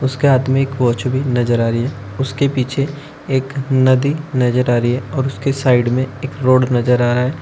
उसके हाथ में एक वॉच भी नजर आ रही है उसके पीछे एक नदी नजर आ रही है और उसके साइड में एक रोड नजर आ रहा है।